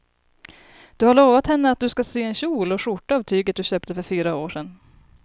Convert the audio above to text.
Du har lovat henne att du ska sy en kjol och skjorta av tyget du köpte för fyra år sedan.